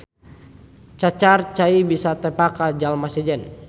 Cacar cai bisa tepa ka jalma sejen.